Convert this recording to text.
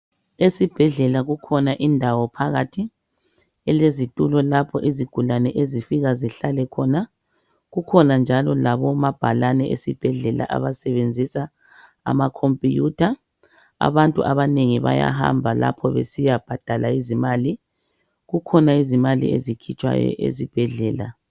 Esibhedlela kukhona indawo phakathi elezitulo lapho izigulane ezifika zihlale khona. Kukhona njalo labomabhalane esibhedlela abasebenzisa amakhompuyutha. Abantu abanengi bayahamba lapho besiyabhadala izimali. Kukhona izimali ezikhitshwayo esibhedlela.